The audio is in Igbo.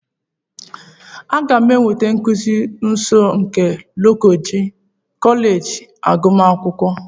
Aga m enweta nkuzi nọọsụ na kọleji agụmakwụkwọ?